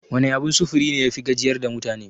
Wane abun sufuri ne yafi gajiyar da mutane?